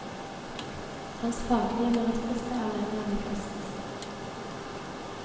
Hans faglige merittliste er lengre enn de flestes.